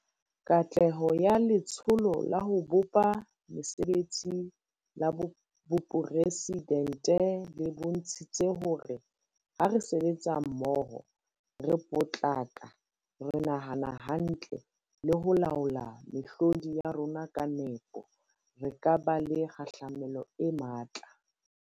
Katleho ya Letsholo la ho bopa Mesebetsi la Boporesi dente le bontshitse hore ha re sebetsa mmoho, re potlaka, re nahana hantle le ho laola mehlodi ya rona ka nepo, re ka ba le kgahlamelo e matla.